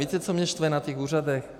Víte, co mě štve na těch úřadech?